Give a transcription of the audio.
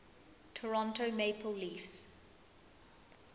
toronto maple leafs